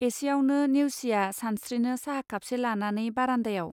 एसेयावनो नेउसिया सानस्त्रिनो साहा खापसे लानानै बारान्दायाव.